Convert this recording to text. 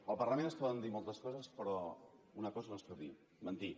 al parlament es poden dir moltes coses però una cosa no es pot dir mentir